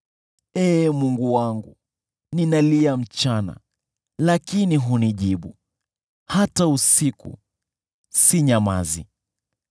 Ee Mungu wangu, ninalia mchana, lakini hunijibu, hata usiku, sinyamazi.